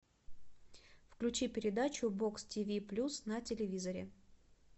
включи передачу бокс тв плюс на телевизоре